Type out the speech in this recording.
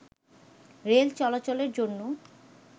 rail চলাচলের জন্য